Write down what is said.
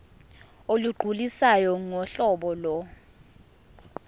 olugculisayo ngohlobo lo